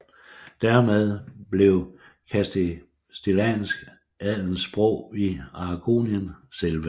Dermed blev castiliansk adelens sprog i Aragonien selve